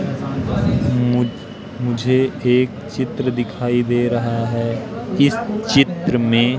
मु मुझे एक चित्र दिखाई दे रहा है इस चित्र में--